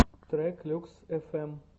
трек люкс фм